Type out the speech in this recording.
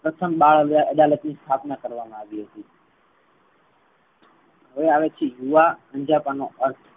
પ્રથમ બાળ અદાલત ની સ્થાપના કરવામા આવી હતી. હવે આવે છે. યુવા અંજપા નો અર્થ